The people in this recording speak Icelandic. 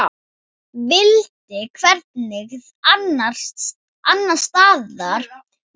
Vildi hvergi annars staðar vera.